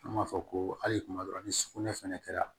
An b'a fɔ ko hali kuma dɔ la ni sugunɛ fɛnɛ kɛra